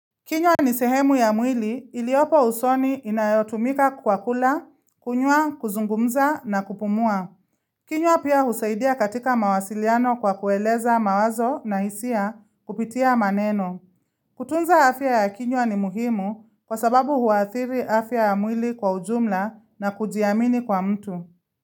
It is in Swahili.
Kinywa ni sehemu ya mwili iliyopo usoni inayotumika kwa kula, kunyua, kuzungumza na kupumua. Kinywa pia husaidia katika mawasiliano kwa kueleza mawazo na hisia kupitia maneno. Kutunza afya ya kinywa ni muhimu kwa sababu huathiri afya ya mwili kwa ujumla na kujiamini kwa mtu.